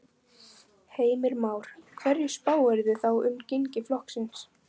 Heimir Már: Hverju spáirðu þá um gengi flokksins?